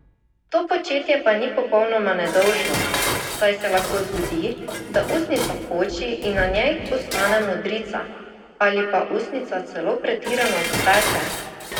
To početje pa ni popolnoma nedolžno, saj se lahko zgodi, da ustnica poči in na njej ostane modrica, ali pa ustnica celo pretirano zateče.